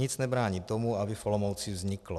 Nic nebrání tomu, aby v Olomouci vzniklo.